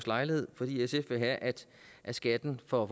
lejlighed fordi sf vil have at skatten på